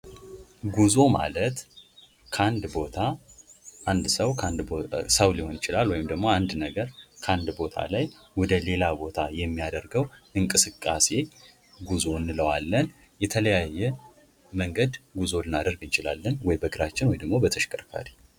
ጉዞ አዳዲስ ቦታዎችን ለመዳሰስ ሲሆን ቱሪዝም ለመዝናናትና ለመማር የሚደረግ እንቅስቃሴ ነው። ስደት ደግሞ የተሻለ ኑሮ ፍለጋ ወይም ከአደጋ ለመዳን የሚደረግ የቦታ ለውጥ ነው።